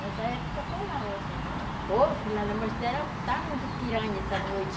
Nessa época falavam assim, mas pô, mas está muito piranha essa noite.